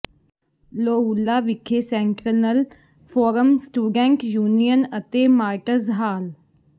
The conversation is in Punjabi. ਲੋਓਲਾ ਵਿਖੇ ਸੈਂਟਰੈਨਲ ਫੋਰਮ ਸਟੂਡੈਂਟ ਯੂਨੀਅਨ ਅਤੇ ਮਾਰਟਜ਼ ਹਾਲ